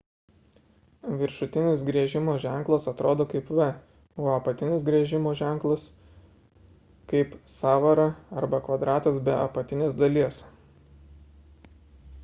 viršutinis griežimo ženklas atrodo kaip v o apatinis griežimo ženklas – kaip sąvara arba kvadratas be apatinės dalies